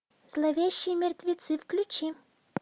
зловещие мертвецы включи